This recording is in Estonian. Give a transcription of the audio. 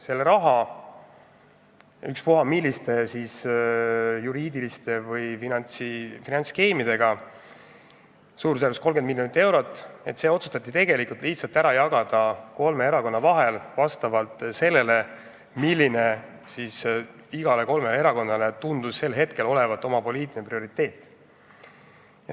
Ta leidis ükspuha milliste juriidiliste või finantsskeemidega suurusjärgus 30 miljonit eurot, mis otsustati tegelikult lihtsalt ära jagada kolme erakonna vahel vastavalt iga erakonna poliitilistele prioriteetidele.